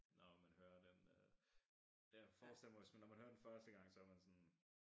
Når man hører den øh jeg forestiller mig hvis når man hører den første gang så man sådan